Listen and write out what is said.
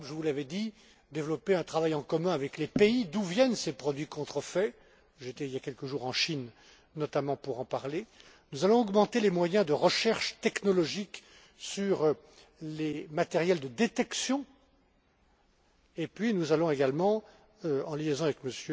M. Schwab, je vous l'avais dit développer un travail en commun avec les pays d'où viennent ces produits contrefaits. J'étais il y a quelques jours en Chine notamment pour en parler. Nous allons augmenter les moyens de recherche technologique sur les matériels de détection et nous allons également, en liaison avec